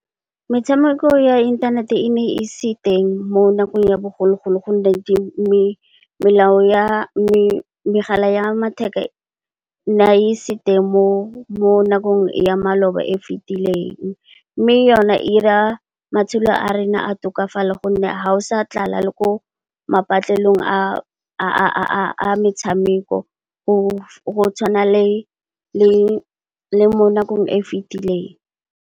Metshameko ya inthanete e ne e se teng mo nakong ya bogologolo gonne, megala ya matheka ne e se teng mo nakong ya maloba e fitileng. Mme, yone e ira matshelo a rona a tokafale gonne ha go sa tlala le ko patlelong ya metshameko go tshwana le mo nakong e e fitileng.